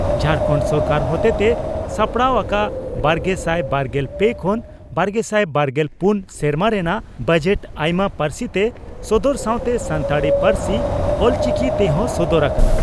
ᱡᱷᱟᱨᱠᱟᱱᱰ ᱥᱚᱨᱠᱟᱨ ᱦᱚᱛᱮᱛᱮ ᱥᱟᱯᱲᱟᱣ ᱟᱠᱟ ᱵᱟᱨᱜᱮᱥᱟᱭ ᱵᱟᱨᱜᱮᱞ ᱯᱮ ᱠᱷᱚᱱ ᱵᱟᱨᱜᱮᱥᱟᱭ ᱵᱟᱨᱜᱮᱞ ᱯᱩᱱ ᱥᱮᱨᱢᱟ ᱨᱮᱱᱟᱜ ᱵᱟᱡᱮᱴ ᱟᱭᱢᱟ ᱯᱟᱹᱨᱥᱤᱛᱮ ᱥᱚᱫᱚᱨ ᱥᱟᱣᱛᱮ ᱥᱟᱱᱛᱟᱲᱤ ᱯᱟᱹᱨᱥᱤ (ᱚᱞᱪᱤᱠᱤ) ᱛᱮᱦᱚᱸ ᱥᱚᱫᱚᱨ ᱟᱠᱟᱱᱟ ᱾